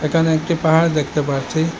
এখানে একটি পাহাড় দেখতে পারছি।